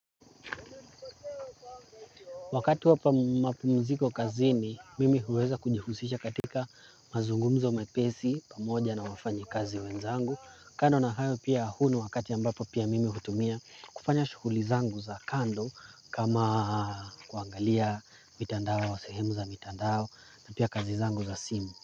Wakati wa mapumziko kazini, mimi huweza kujihusisha katika mazungumzo mepesi pamoja na wafanyikazi wenzangu. Kando na hayo pia huu wakati ambapo pia mimi hutumia kufanya shughuli zangu za kando kama kuangalia sehemu za mitandao na pia kazi zangu za simu.